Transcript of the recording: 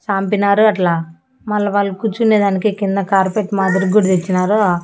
సాంపినారు అట్లా మళ్ళ వాళ్ళు కూర్చునేదానికి కింద కార్పెట్ మాదిరిగుడ తెచ్చినారు ఆ.